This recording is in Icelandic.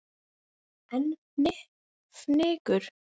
En fnykur